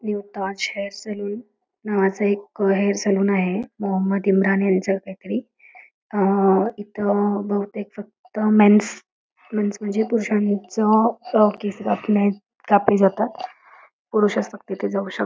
new Taj hair salon नावाचं एक hair salon आहे मोहम्मद इम्रान ह्यांच इथं बहुतेक फक्त मेन्स मेन्स म्हणजे पुरुषांचं केस कापने कापले जातात पुरुषचं फक्त जाऊ शक--